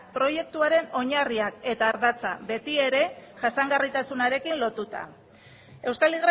proiektuaren oinarria eta ardatza betiere jasangarritasunarekin lotuta euskal